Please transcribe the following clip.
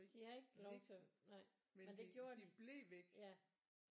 De havde ikke lov til det nej men det gjorde de ja